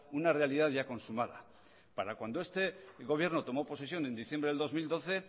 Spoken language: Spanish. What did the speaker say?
una realidad ya consumada para cuando este gobierno tomó posición en diciembre del dos mil doce